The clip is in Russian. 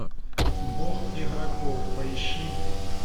бог игроков поищи